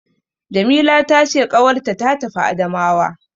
Jamila ta ce ƙawarta ta tafi Adamawa.